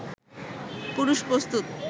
পুরুষ প্রস্তুত